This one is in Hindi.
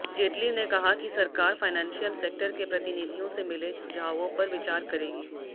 जेटली ने कहा कि सरकार फाइनेंशियल सेक्टर के प्रतिनिधियों से मिले सुझावों पर विचार करेगी